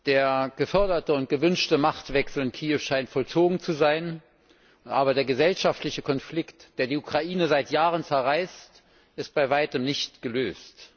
Der geforderte und gewünschte Machtwechsel in Kiew scheint vollzogen zu sein. Aber der gesellschaftliche Konflikt, der die Ukraine seit Jahren zerreißt, ist bei weitem nicht gelöst.